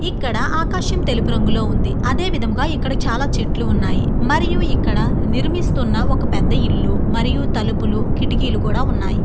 ఇక్కడ ఆకాశం తెలుపు రంగులో ఉంది అదే విధముగా ఇక్కడ చాలా చెట్లు ఉన్నాయి మరియు ఇక్కడ నిర్మిస్తున్న ఒక పెద్ద ఇల్లు మరియు తలుపులు కిటికీలు కూడా ఉన్నాయి.